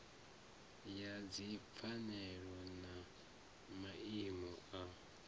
ya dzipfanelo na maimo a